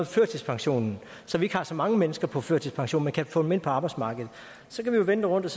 førtidspensionen så vi ikke har så mange mennesker på førtidspension men kan få dem ind på arbejdsmarkedet så kan vi jo vende det rundt